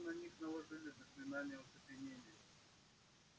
как будто на них наложили заклинание оцепенения